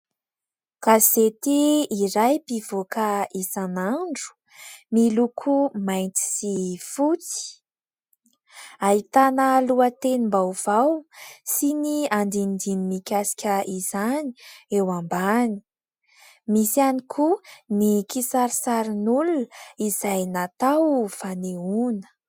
Gazety iray mpivoaka isan'andro : miloko mainty sy fotsy, ahitana lohatenim-baovao sy ny andindininy mikasika izany eo ambany. Misy ihany koa ny kisarisarin'olona izay natao fanehoana.